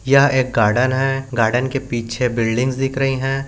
यह गार्डन है गार्डन के पीछे बिल्डिंग दिख रही है।